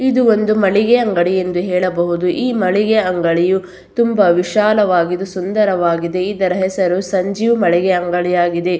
ಇದು ಒಂದು ಮಳಿಗೆ ಅಂಗಡಿ ಎಂದು ಹೇಳಬಹುದು ಈ ಮಳಿಗೆ ಅಂಗಡಿಯು ತುಂಬಾ ವಿಶಾಲವಾಗಿದ್ದು ಸುಂದರವಾಗಿದೆ ಇದರ ಹೆಸರು ಸಂಜೀವ್ ಮಳಿಗೆ ಅಂಗಡಿ ಆಗಿದೆ.